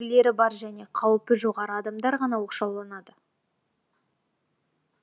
қандай да бір белгілері бар және қауіпі жоғары адамдар ғана оқшауланады